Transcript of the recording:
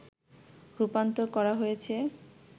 রূপান্তর করা হয়েছে